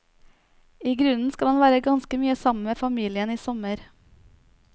I grunnen skal han være ganske mye sammen med familien i sommer.